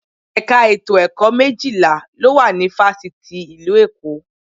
Ẹ̀ka ètò ẹ̀kọ́ méjìlá ló wà ní Fáṣítì ìlú Èkó